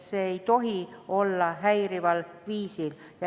See müük ei tohi käia häirival viisil.